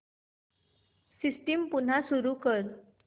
system पुन्हा सुरू कर